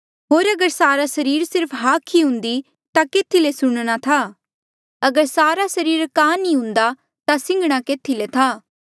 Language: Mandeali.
होर अगर सारा सरीर सिर्फ हाख ई हुन्दी ता केथी ले सुणना था अगर सारा सरीर कान ई हुन्दा ता सिंघणा केथी ले था